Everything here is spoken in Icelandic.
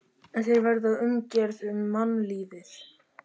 En þeir verða umgerð um mannlífið.